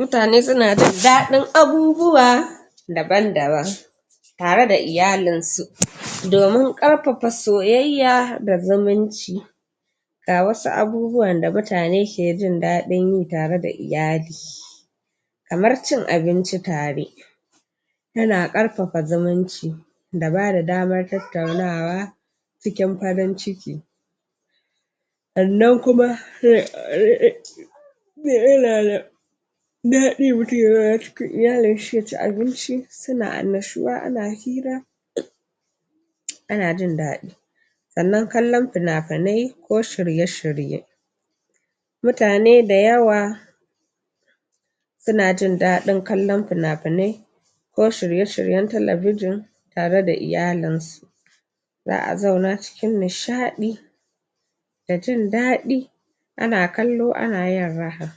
mutane suna jin daɗin abubuwa daban-daban tare da iyalin su domin ƙarfafa soyayya da zumunci ga wasu abubuwan da mutane ke jin daɗin yi tare da iyali kamar cin abinci tare yana ƙarfafa zumunci da bada damar tattaunawa cikin farin ciki amma kuma daɗi mutum ya zauna cikin iyalin shi ya ci abinci suna annashuwa ana hira ana jin daɗi sannan kallon fina-finai ko shirye-shirye mutane da yawa suna jin daɗin kallon fina-finai ko shirye-shiryen talabijin tare da iyalin su za'a zauna cikin nishaɗi da jin daɗi ana kallo ana yin raha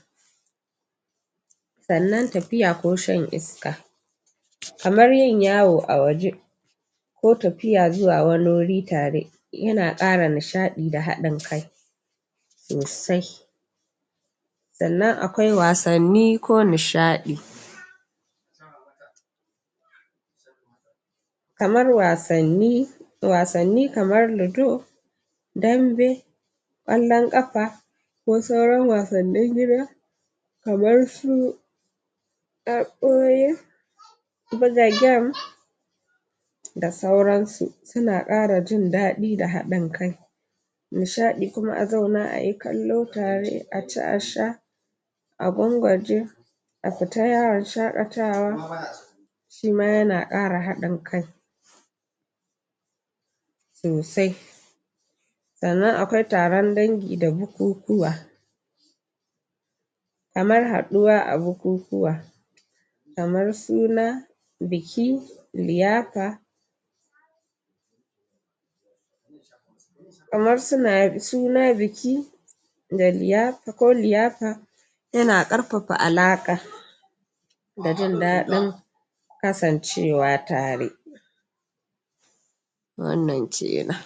sannan tafiya ko shan iska kamar yin yawo a waje ko tafiya zuwa wani wuri tare yana ƙara nishaɗi da haɗin kai sosai sannan akwai wasanni ko nishaɗi kamar wasanni wasanni kamar ludo dambe ƙwallon ƙafa ko sauran wasannin gida kamar su buga game da sauran su tana ƙara jin daɗi da haɗin kai nishaɗi kuma a zauna ayi kallo tare a ci a sha a gwangwaje a fita yawon shaƙatawa shima yana ƙara haɗin kai sosai sannan akwai taron dangi da bukukuwa kamar haɗuwa a bukukuwa kamar suna biki liyafa kamar suna biki ko liyafa yana ƙarfafa alaƙa da jin daɗin kasancewa tare wannan kenan